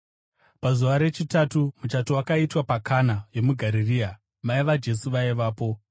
Pazuva rechitatu muchato wakaitwa paKana yomuGarirea. Mai vaJesu vaivapo,